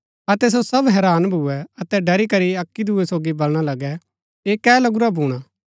अतै सो सब हैरान भूए अतै ड़री करी अक्की दूये सोगी बलणा लगै ऐह कै लगुरा भूणा